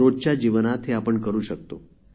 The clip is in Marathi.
रोजच्या जीवनात हे आपण करू शकतो